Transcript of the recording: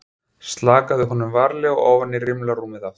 Slakaði honum varlega ofan í rimlarúmið aftur.